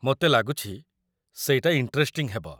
ମୋତେ ଲାଗୁଛି, ସେଇଟା ଇଣ୍ଟରେଷ୍ଟିଂ ହେବ ।